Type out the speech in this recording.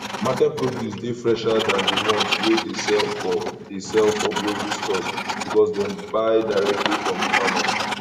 market produce dey fresher than di ones wey dey sell for dey sell for grocery stores because dem buy directly from di farmers